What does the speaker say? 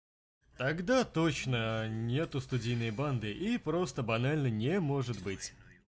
тогда точно нету студийной банды и просто банально не может быть